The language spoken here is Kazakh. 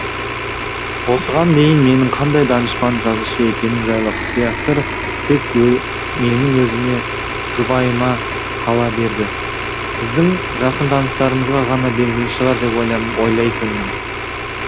осыған дейін менің қандай данышпан жазушы екенім жайлы құпия сыр тек менің өзіме жұбайыма қала берді біздің жақын таныстарымызға ғана белгілі шығар деп ойлайтынмын